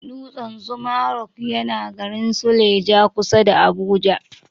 Dutsan zuma rock yana garin suleja, kusa da Abuja.